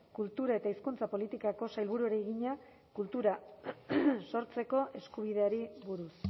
kultura eta hizkuntza politikako sailburuari egina kultura sortzeko eskubideari buruz